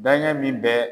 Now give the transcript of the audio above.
Dankɛ min bɛ